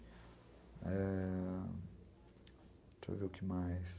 É.. Deixa eu ver o que mais...